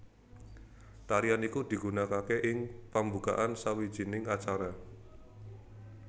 Tarian iku digunakake ing pembukaan sawijining acara